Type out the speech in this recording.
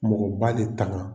Mɔgɔba de tanka